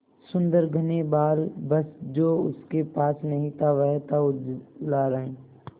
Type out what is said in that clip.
सुंदर घने बाल बस जो उसके पास नहीं था वह था उजला रंग